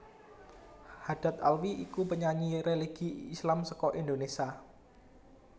Haddad Alwi iku penyanyi religi Islam saka Indonesia